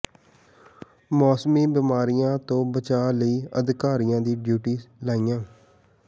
ਮੌਸਮੀ ਬਿਮਾਰੀਆਂ ਤੋਂ ਬਚਾਅ ਲਈ ਅਧਿਕਾਰੀਆਂ ਦੀਆਂ ਡਿਊਟੀਆਂ ਲਾਈਆਂ